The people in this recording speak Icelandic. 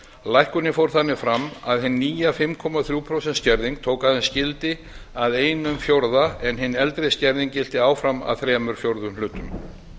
lækkunin fór þannig fram að hin nýja fimm komma þrjú prósent skerðing tók aðeins gildi að einum fjórða en einn eldri skerðing gilti áfram að þrír fjórðu hlutum